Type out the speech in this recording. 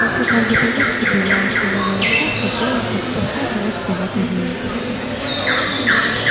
после каждой поездки появлялись то новый рассказ то повесть то просто короткая запись в дневнике